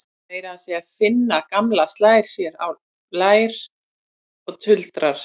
Meira að segja Finna gamla slær sér á lær og tuldrar